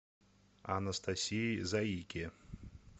анастасии заике